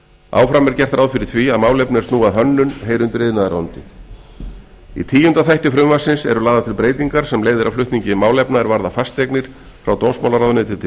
áfram er gert ráð fyrir því að málefni er snúa að hönnun heyri undir iðnaðarráðuneytið í tíunda þætti frumvarpsins eru lagðar til breytingar sem leiða af flutningi málefna er varða fasteignir frá dómsmálaráðuneyti til